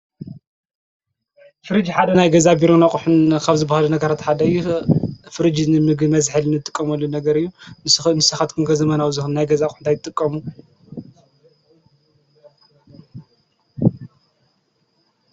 ፍርጅ ሓደ ናይ ገዛን ቢሮን ኣቑሑን ካብ ዝበሃሉ ሓደ እዩ። ፍርጅ ንምግቢ መዝሐሊ እንጥቀመሉ ነገር እዩ። ንስኻትኩም ከ ዘመናዊ ናይ ገዛ ኣቕሑ እንታይ ትጥቀሙ?